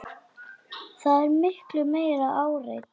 Það er miklu meira áreiti.